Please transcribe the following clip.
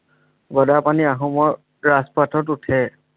গদাপাণি আহোমৰ ৰাজপাথত উঠে।